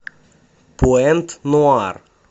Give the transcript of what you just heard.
пуэнт нуар